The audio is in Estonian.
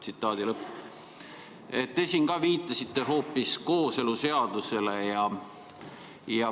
" Te siin ka viitasite hoopis kooseluseadusele.